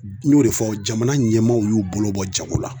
N y'o de fɔ aw jamana ɲɛmaaw y'u bolo bɔ jago la